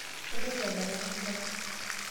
Mintoki adalare enkerai